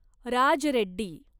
Raj Reddy